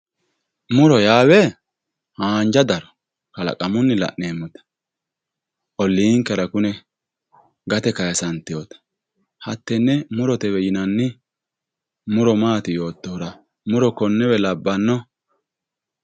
muro yaa we haanja daro kalaqamunnu la'neemmote olliinkera kune gate kaasantinota hattenne murotewe yinanni muro maati yoottohura muro konnewe labbanno.